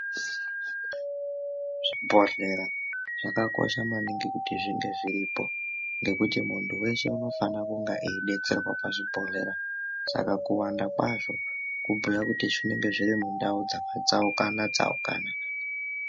Zvibhodhlera zvakakosha maningi kuti zvinge zviripo ngekuti muntu weshe unofana kunge eibetserwa pazvibhodhlera saka kuwanda kwazvo kubhuya kuti zvinenge zviri mundau dzakataukana tsaukana.